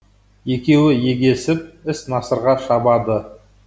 екеуі егесіп іс насырға шабады